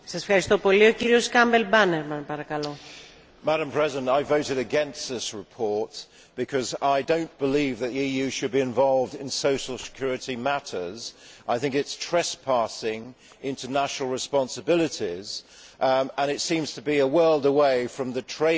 Madam President, I voted against this report because I do not believe that the EU should be involved in social security matters. I think it is trespassing on international responsibilities, and it seems to be a world away from the trade agreement that the EU is meant to be about.